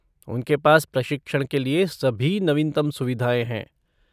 उनके पास प्रशिक्षण के लिए सभी नवीनतम सुविधाएँ हैं।